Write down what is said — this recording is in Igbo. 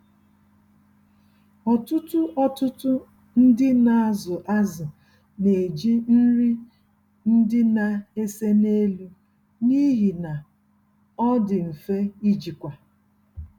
Ọtụtụ Ọtụtụ ndị nazụ azụ neji nri ndị na-ese n'elu, n'ihi na ọndị mfe ijikwa.